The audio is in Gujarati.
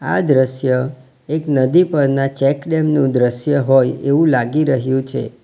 આ દ્રશ્ય એક નદી પરના ચેકડેમ નું દ્રશ્ય હોય એવું લાગી રહ્યું છે.